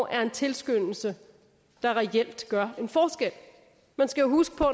er en tilskyndelse der reelt gør en forskel man skal huske på